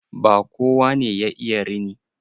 Ba kowa ne ya iya rini.